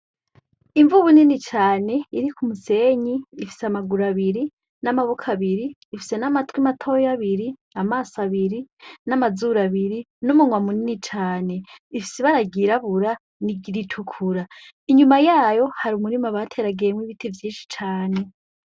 Imvubu nini cane iri ku musenyi, ifise amaguru abiri, n'amaboko abiri ifise n'amatwi matoya abiri, amaso abiri n'amazuru abiri n'umunwa munini cane. Ifise ibara ryirabura n'iritukura, inyuma yayo hari umurima bateragiyemo ibiti vyinshi cane.